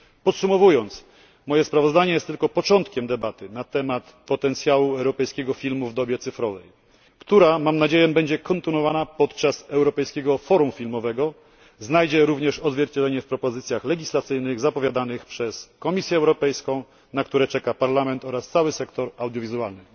Podsumowując, moje sprawozdanie jest tylko początkiem debaty na temat potencjału europejskiego filmu w dobie cyfrowej, która mam nadzieję będzie kontynuowana podczas Europejskiego Forum Filmowego, znajdzie również odzwierciedlenie w propozycjach legislacyjnych zapowiadanych przez Komisję Europejską, na które czeka Parlament oraz cały sektor audiowizualny.